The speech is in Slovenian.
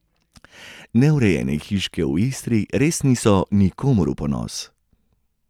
Neurejene hiške v Istri res niso nikomur v ponos.